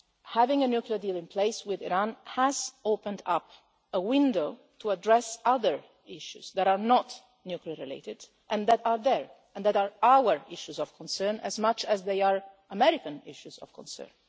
Having a nuclear deal in place with Iran has opened up a window to address other issues that are not nuclear-related and that are there and that are our issues of concern as much as they are American issues of concern.